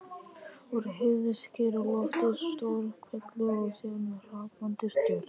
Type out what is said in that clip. Úr heiðskíru lofti: stór hvellur og síðan hrapandi stjörnur.